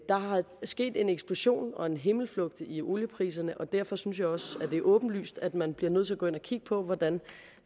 sket en eksplosion og en himmelflugt i oliepriserne og derfor synes jeg også at det er åbenlyst at man bliver nødt til at gå ind og kigge på hvordan